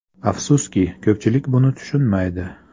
Afsuski, ko‘pchilik buni tushunmaydi.